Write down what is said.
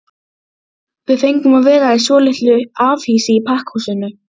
Við fengum að vera í svolitlu afhýsi í pakkhúsinu.